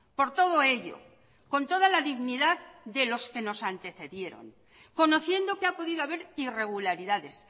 por todo ello con toda la dignidad de los que nos antecedieron conociendo que ha podido haber irregularidades